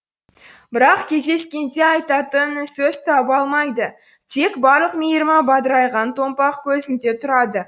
бірақ кездескенде айтатын сөз таба алмайды тек барлық мейірімі бадырайған томпақ көзінде тұрады